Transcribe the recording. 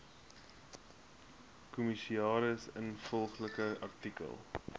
kommissaris ingevolge artikel